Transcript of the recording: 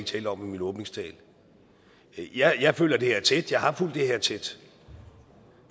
talt om i min åbningstale jeg jeg følger det her tæt jeg har fulgt det her tæt